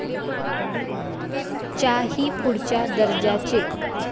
च्या ही पुढच्या दर्जाचे.